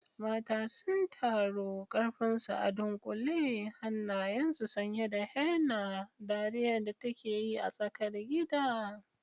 Mata sun taru, karfinsu a dunkule, hannayensu sanye da henna, dariyar da take yi a tsakar gida.